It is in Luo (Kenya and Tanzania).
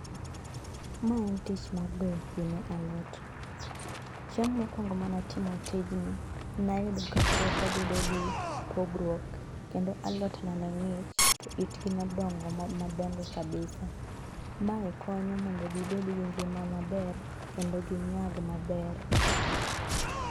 maen tich mar goyo pii ne alot chieng mokwongo manatimo tijni nayudo ka puotha bedo gi pogruok kendo alot na nengich kendo itgi nodongo madongo kabisa mae konyo mondo gi bed gi ngima maber kendo ginyag maber